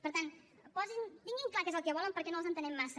per tant tinguin clar què és el que volen perquè no els entenem massa